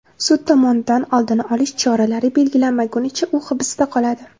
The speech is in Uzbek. Sud tomonidan oldini olish choralari belgilanmagunicha, u hibsda qoladi.